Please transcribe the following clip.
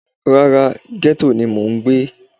Rara, gẹ́tò ni mò ń gbé